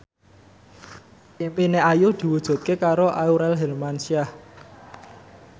impine Ayu diwujudke karo Aurel Hermansyah